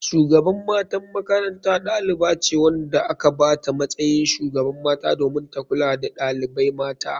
Shugaban matan makaranta ɗalibace wanda aka bata matsayin shugaban mata domin ta kulka da ɗalibai mata.